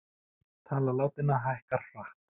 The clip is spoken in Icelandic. Tala látinna hækkar hratt